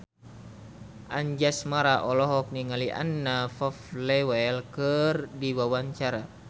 Anjasmara olohok ningali Anna Popplewell keur diwawancara